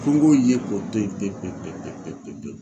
Ko n k'o ye ko to yen pepewu.